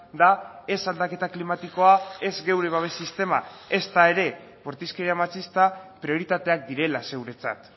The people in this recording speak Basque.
da ez aldaketa klimatikoa ez geure babes sistema ezta ere bortizkeria matxista prioritateak direla zeuretzat